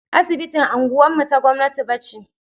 Asibitin unguwar mu ta gwamnati ba ce.